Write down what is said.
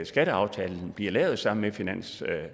skatteaftalen bliver lavet sammen med finansloven